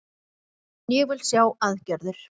En ég vil sjá aðgerðir